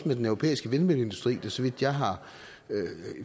med den europæiske vindmølleindustri som